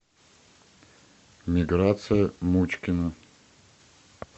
миграция мучкина